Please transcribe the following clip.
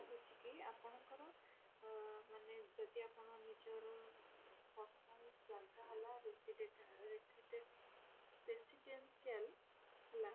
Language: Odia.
ରହୁଛି କି ଆପଣଙ୍କର ଅ ମାନେ ଯଦି ମାନେ ଯଦି ଆପଣ ନିଜର ମାନେ personal ଜାଗା ହେଲା residet resident residential ହେଲା